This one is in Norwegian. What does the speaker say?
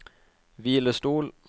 hvilestol